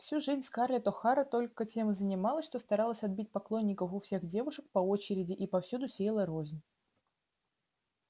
всю жизнь скарлетт охара только тем и занималась что старалась отбить поклонников у всех девушек по очереди и повсюду сеяла рознь